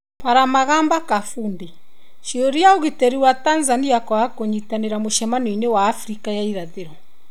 Palamagamba Kabudi: ciũria ũgitĩri wa Tanzania kwaga kũnyitanĩra mũcemanio wa Afrika ya irathĩro.